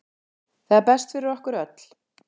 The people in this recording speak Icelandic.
Það er best fyrir okkur öll.